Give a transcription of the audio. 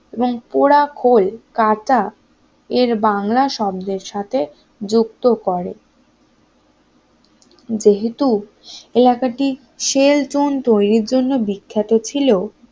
এবং পোড়া খোল কাটা এর বাংলা শব্দের সাথে যুক্ত করে যেহেতু এই আকারটি যেহেতু এই আকার টি সেল চুন তৈরির জন্য বিখ্যাত ছিল